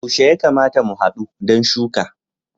Yaushe ya kamata mu hadu don shuka?